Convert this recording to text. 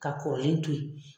Ka kɔrɔlen to ye